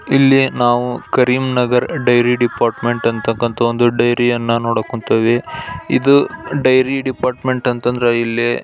ಇಲ್ಲಿ ನಾವು Karim Nagar dairy department ಅಂತಕ್ಕಂತ ಒಂದು ಡೇರಿ ಯನ್ನ ನೋಡಕ್ ಕುಂತೀವಿ ಇದು ಡೇರಿ ಡಿಪಾರ್ಟ್ಮೆಂಟ್ ಅಂತಂದ್ರೆ ಇಲ್ಲಿ .